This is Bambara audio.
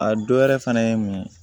A dɔ wɛrɛ fɛnɛ ye mun ye